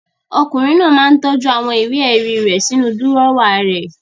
Ọkùnrin náà máa ń tọ́jú àwọn ìwé-ẹ̀rí rẹ̀ sínú dúrọ́à rẹ̀.